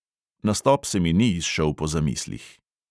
Nastop se mi ni izšel po zamislih.